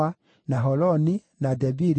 na Holoni, na Debiri,